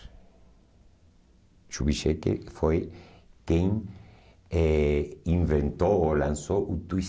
Shubi Shekhar foi quem eh inventou ou lançou o Twist.